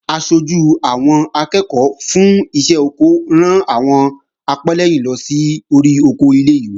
Aṣojú àwọn akẹ́ẹ̀kọ́ fún iṣẹ́ oko ran àwọn apẹ́lẹ́yìn lọ sí orí oko ilé-ìwé